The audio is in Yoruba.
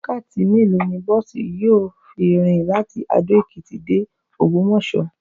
Wákàtí mélòó ni bọ́ọ̀sì yóò fi rìn láti Adó-Ekiti de Ògbómọ̀sọ́?